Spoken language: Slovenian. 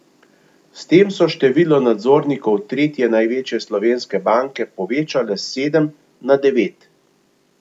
S tem so število nadzornikov tretje največje slovenske banke povečali s sedem na devet.